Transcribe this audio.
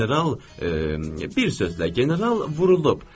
General, bir sözlə, General vurulub.